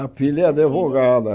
A filha é a advogada.